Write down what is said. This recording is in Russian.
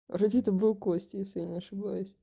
вроде это был костя если я не ошибаюсь